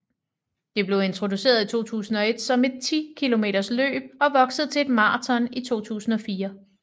Det blev introduceret i 2001 som et 10 km løb og voksede til et maraton i 2004